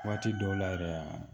Waati dɔw la yɛrɛ yan